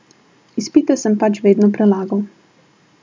Izpite sem pač vedno prelagal.